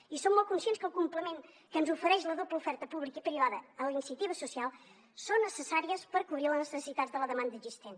i som molt conscients que el complement que ens ofereix la doble oferta pública i privada a la iniciativa social és necessari per cobrir les necessitats de la demanda existent